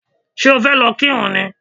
Ṣé o fẹ́ lọ kírun ni?